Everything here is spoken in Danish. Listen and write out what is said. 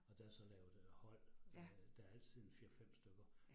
Og der så lavet øh hold, øh der altid en 4 5 stykker